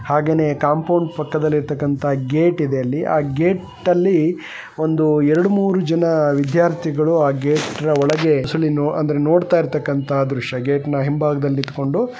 ಹಾಗೇನೆ ಕಾಂಪೌಂಡ್ ಪಕ್ಕದಲ್ಲಿ ಗೇಟ್ ಇದೆ ಅಲ್ಲಿ ಆ ಗೇಟ್ ಅಲ್ಲಿಒಂದು ಎರಡು ಮೂರು ಜನ ವಿದ್ಯಾರ್ಥಿಗಳು ಆ ಗೇಟ್ಜನ ನೋಡ್ತಾಕಂತಹ ದೃಶ್ಯ ಅಂದ್ರೆ ಗೇಟ್ ನ ಹಿಂಬಾಗದಲ್ಲಿ ನಿತ್ಕೊಂಡು.